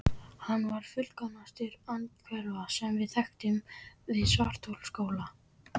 Hún var fullkomnust andhverfa, sem við þekktum, við Svartaskóla.